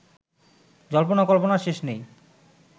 জল্পনা কল্পনার শেষ নেই